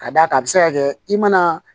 Ka d'a kan a bi se ka kɛ i mana